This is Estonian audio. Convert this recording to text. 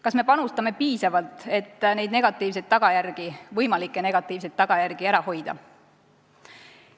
Kas me panustame piisavalt, et võimalikke negatiivseid tagajärgi ära hoida?